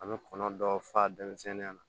An bɛ kɔnɔ dɔ fa denmisɛnninya